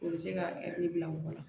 O bɛ se ka bila mɔgɔ la